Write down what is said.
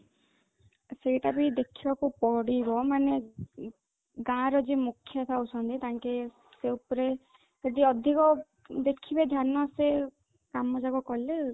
ସେଇଟା ବି ଦେଖିବାକୁ ପଡିବ ମାନେ ଗାଁ ର ଯିଏ ମୁଖିଆ ଥାଉ ଛନ୍ତି ତାଙ୍କେ ଏଇ ଉପରେ ଯଦି ଅଧିକ ଦେଖିବେ ଧ୍ୟାନସେ କାମ ଯାକ କଲେ